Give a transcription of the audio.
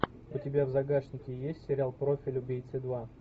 у тебя в загашнике есть сериал профиль убийцы два